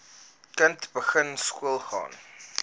kind begin skoolgaan